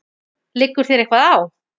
Liggur þér eitthvað á?